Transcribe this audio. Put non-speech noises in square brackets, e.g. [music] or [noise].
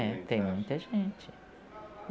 É, [unintelligible] tem muita gente.